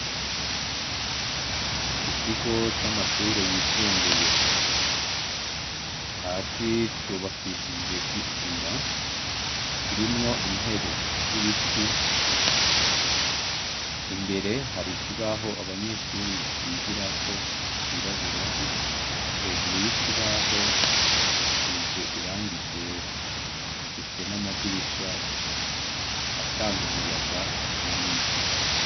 Ikigo c'amashure yisumbuye, hasi cubakishije isima, kirimwo intebe y’ibiti, imbere hari kibaho abanyeshuri bigira ko cirabura, hejuru y’ikibaho hasize irangi ryera gifise n'amadirisha, atanga umuyaga manini.